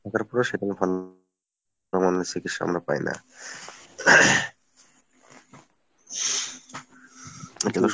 থাকার পরেও সেখানে সামান্য চিকিৎসা আমরা পাই না এইটা হইলো